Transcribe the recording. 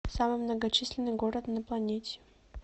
самый многочисленный город на планете